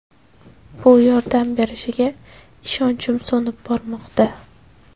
Bu yordam berishiga ishonchim so‘nib bormoqda.